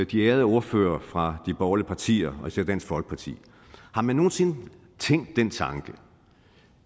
de ærede ordførere fra de borgerlige partier og især dansk folkeparti har man nogen sinde tænkt den tanke